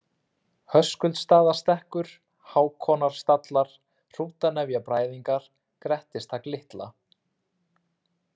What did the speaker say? Höskuldsstaðastekkur, Hákonarstallar, Hrútanefjabræðingar, Grettistak-Litla